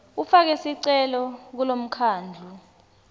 ufake sicelo kulomkhandlu